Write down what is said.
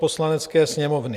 Poslanecké sněmovny: